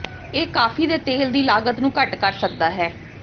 ਇਹ ਕਾਫ਼ੀ ਦੇ ਤੇਲ ਦੀ ਲਾਗਤ ਨੂੰ ਘੱਟ ਕਰ ਸਕਦਾ ਹੈ